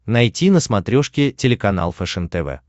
найти на смотрешке телеканал фэшен тв